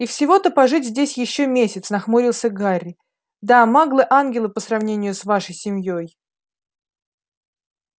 и всего-то пожить здесь ещё месяц нахмурился гарри да маглы ангелы по сравнению с вашей семьёй